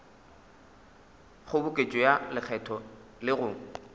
kgoboketšo ya lekgetho le go